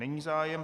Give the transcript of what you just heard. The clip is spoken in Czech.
Není zájem.